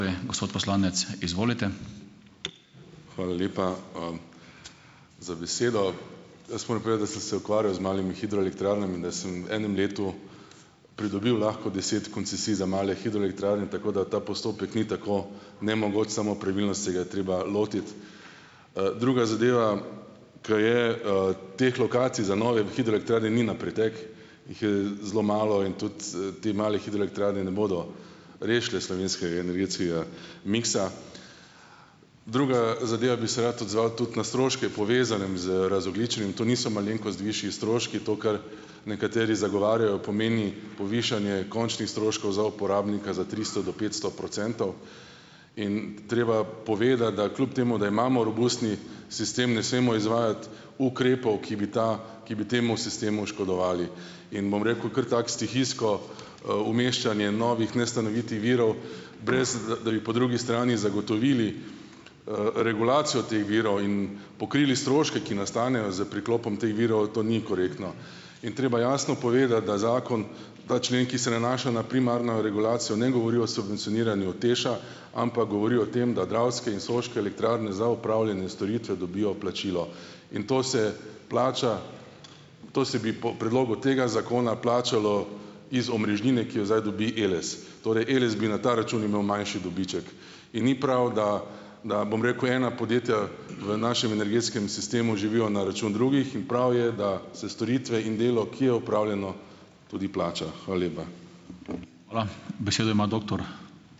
Hvala lepa, za besedo. Jaz moram povedati, da sem se ukvarjal z malimi hidroelektrarnami, da sem v enem letu pridobil lahko deset koncesij za male hidroelektrarne, tako da ta postopek ni tako nemogoč, samo pravilno se ga je treba lotiti. Druga zadeva, ker je, teh lokacij za nove hidroelektrarne ni na pretek, jih je zelo malo in tudi, te male hidroelektrarne ne bodo rešile slovenskega energetskega miksa. Druga zadeva bi se rad odzval tudi na stroške, povezanem z razogljičenjem. To niso malenkost višji stroški. To, kar nekateri zagovarjajo, pomeni povišanje končnih stroškov za uporabnika za tristo do petsto procentov. In treba povedati, da kljub temu, da imamo robustni sistem, ne smemo izvajati ukrepov, ki bi ta ki bi temu sistemu škodovali. In bom rekel kar tako stihijsko, umeščanje novih nestanovitnih virov, brez da bi po drugi strani zagotovili, regulacijo teh virov in pokrili stroške, ki nastanejo s priklopom teh virov, to ni korektno. In treba jasno povedati, da zakon ta člen, ki se nanaša na primarno regulacijo, ne govori o subvencioniranju TEŠ-a, ampak govori o tem, da Dravske in Soške elektrarne za opravljene storitve dobijo plačilo. In to se plača in to se bi po predlogu tega zakona plačalo iz omrežnine, ki jo zdaj dobi Eles, torej, Eles bi na ta račun imel manjši dobiček. In ni prav, da da, bom rekel, ena podjetja v našem energetskem sistemu živijo na račun drugih. In prav je, da se storitve in delo, ki je opravljeno, tudi plača. Hvala lepa.